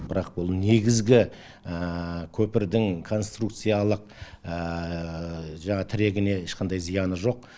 бірақ бұл негізгі көпірдің конструкциялық жаңағы тірегіне ешқандай зияны жоқ